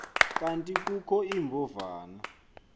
kanti kukho iimbovane